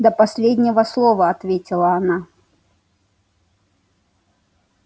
до последнего слова ответила она